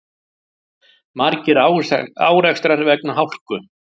Margir árekstrar vegna hálku